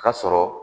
Ka sɔrɔ